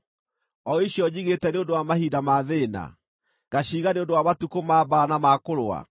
o icio njigĩte nĩ ũndũ wa mahinda ma thĩĩna, ngaciiga nĩ ũndũ wa matukũ ma mbaara na ma kũrũa.